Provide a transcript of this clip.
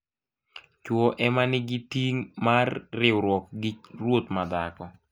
Chwo ema nigi ting' mar rwiruok gi ruoth madhako.